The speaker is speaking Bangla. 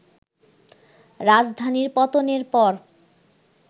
রাজধানীর পতনের পর